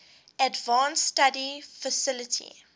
advanced study faculty